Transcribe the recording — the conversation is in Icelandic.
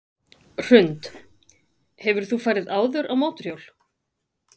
Hrund: Hefur þú farið áður á mótorhjól?